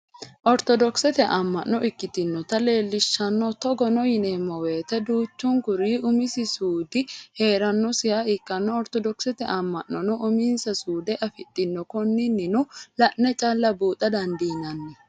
Oritodokisete ama'no ikkitinotta leelishano togono yineemo woyite duuchunkuri umisi suudi heeranosiha ikkanna oritodokisete ama'nanono uminsa suude afidhino, koninino la'ne calla buuxa dandinanni